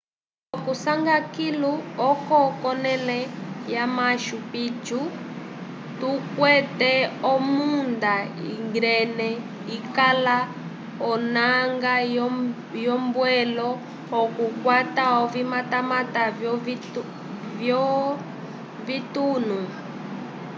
okusanga kilu oko k'onẽle ya machu picchu tukwete omunda íngreme ikala onanga yombwelo okukwata ovimatamata vyovitunu